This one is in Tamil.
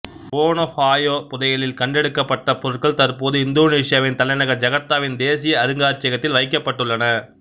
வோனொபாயோ புதையலில் கண்டெடுக்கப்பட்ட பொருட்கள் தற்போது இந்தோனேசியாவின் தலைநகர் ஜகார்த்தாவின் தேசிய அருங்காட்சியகத்தில் வைக்கப்பட்டுள்ளன